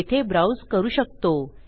येथे ब्राउज करू शकतो